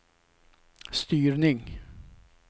styrning